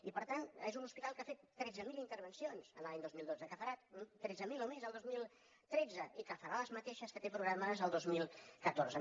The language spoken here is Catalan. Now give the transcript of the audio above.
i per tant és un hospital que ha fet tretze mil intervencions l’any dos mil dotze que en farà tretze mil o més el dos mil tretze i que en farà les mateixes que té programades el dos mil catorze